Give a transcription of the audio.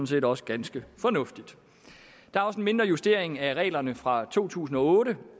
set også ganske fornuftigt der er også en mindre justering af reglerne fra to tusind og otte